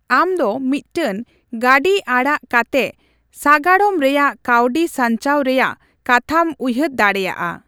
ᱟᱢᱫᱚ ᱢᱤᱫᱴᱟᱝ ᱜᱟᱹᱰᱤ ᱟᱲᱟᱜ ᱠᱟᱛᱮᱜ ᱥᱟᱜᱟᱲᱚᱢ ᱨᱮᱭᱟᱜ ᱠᱟᱹᱣᱰᱤ ᱥᱟᱧᱪᱟᱣ ᱨᱮᱭᱟᱜ ᱠᱟᱛᱷᱟᱢ ᱩᱭᱦᱟᱹᱨ ᱫᱟᱲᱮᱭᱟᱜᱼᱟ ᱾